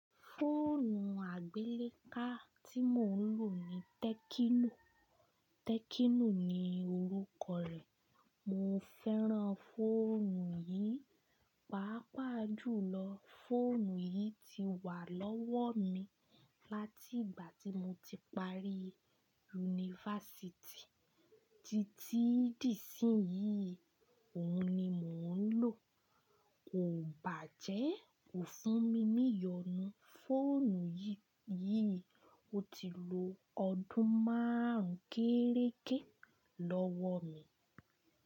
Fóònù àgbéléká tí mò ń lò ni Tẹkino. Tẹkino ni orúkọ rẹ̀. Mo fẹ́ràn fọ́ònù yìí, pàápàá jùlọ fọ́ònù yìí ti wà lọ́wọ́ mi láti ìgbà tí mo ti parí university títí di ìsín yìí òun ni mò ń lò. Kò bàjẹ́, kò fún mi ní ìyọnu. Fọ́ònù yìí, ò ti lo ọdún márùn-ún kéréke lọ́wọ́ mi.